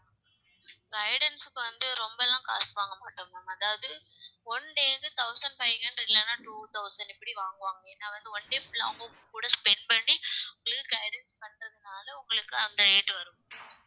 guidance க்கு வந்து ரொம்பல்லாம் காசு வாங்க மாட்டோம் ma'am அதாவது one day க்கு thousand five hundred இல்லன்னா two thousand இப்படி வாங்குவாங்க ஏன்னா வந்து one day full ஆ அவங்க உங்ககூட spend பண்ணி full guidance பண்றதுனால உங்களுக்கு அந்த rate வரும்